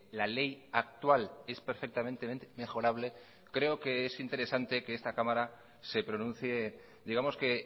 la ley actual es perfectamente mejorable creo que es interesante que esta cámara se pronuncie digamos que